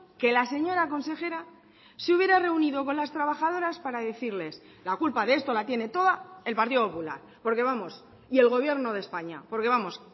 que la señora consejera se hubiera reunido con las trabajadoras para decirles la culpa de esto la tiene toda el partido popular porque vamos y el gobierno de españa porque vamos